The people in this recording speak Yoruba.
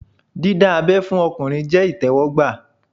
Dídá abẹ́ fún ọkùnrin jẹ́ ìtẹ́wọ́gbà